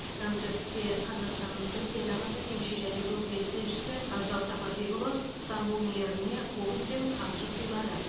концертте қазақстанның түркиядағы төтенше және өкілетті елшісі абзал сапарбекұлы ыстанбұл мэріне қобыз бен қамшы сыйлады